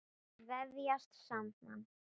Vefjast saman.